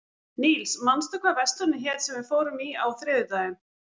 Níls, manstu hvað verslunin hét sem við fórum í á þriðjudaginn?